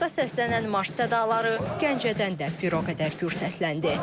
Paytaxtda səslənən marş sədaları Gəncədə də bir o qədər gür səsləndi.